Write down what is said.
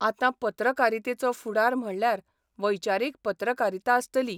आतां पत्रकारितेचो फुडार म्हणल्यार वैचारीक पत्रकारिता आसतली.